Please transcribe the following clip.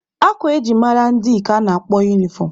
Akwa eji mara ndị ka a na-akpọ unifọm.